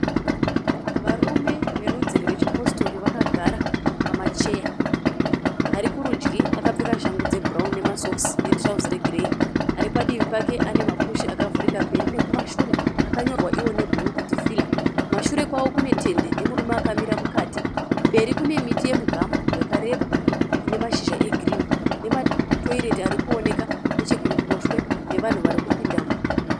Varume verudzi rwechiPositori vakagara pamacheya . Ari kurudyi akapfeka shangu dzebhurauni nemasokisi netirauzi regireyi. Aripadivi pake ane mapushi akavhurika mberi nekumashure akanyorwa nebhuru kuti Fila. Kumashure kwavo kune tende nemurume akamira mukati . Mberi kune miti yemuGamu yakareba inamashizha egirini nematoireti arikuonekwa nechekuruboshwe nevanhu varikupindamo .